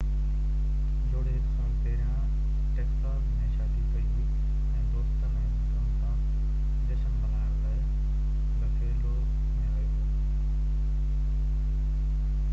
جوڙي هڪ سال پهريان ٽيڪساز ۾ شادي ڪئي هئي ۽ دوستن ۽ مائٽن سان جشن ملائڻ لاءِ بفيلو ۾ آيو هو